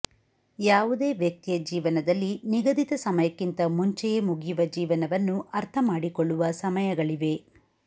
ಯಾವುದೇ ವ್ಯಕ್ತಿಯ ಜೀವನದಲ್ಲಿ ನಿಗದಿತ ಸಮಯಕ್ಕಿಂತ ಮುಂಚೆಯೇ ಮುಗಿಯುವ ಜೀವನವನ್ನು ಅರ್ಥಮಾಡಿಕೊಳ್ಳುವ ಸಮಯಗಳಿವೆ